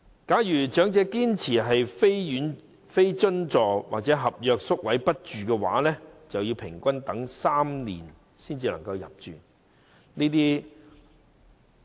假如長者堅持非津助或合約宿位不住的話，平均要等候3年才有宿位。